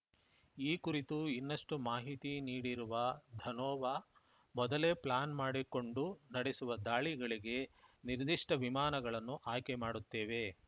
ಈ ಕುರಿತು ಇನ್ನಷ್ಟುಮಾಹಿತಿ ನೀಡಿರುವ ಧನೋವಾ ಮೊದಲೇ ಪ್ಲಾನ್‌ ಮಾಡಿಕೊಂಡು ನಡೆಸುವ ದಾಳಿಗಳಿಗೆ ನಿರ್ದಿಷ್ಟವಿಮಾನಗಳನ್ನು ಆಯ್ಕೆ ಮಾಡುತ್ತೇವೆ